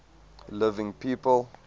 living people